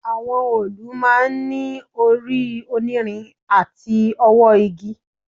Àwọn òòlù máa ń ní orí onírin àti ọwọ́ igi